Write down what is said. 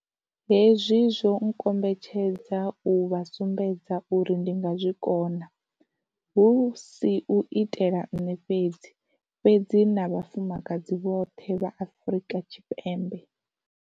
Hezwi zwo nkombetshedza u vha sumbedza uri ndi nga zwi kona, hu si u itela nṋe fhedzi, fhedzi na vhafumakadzi vhoṱhe vha Afrika Tshipembe.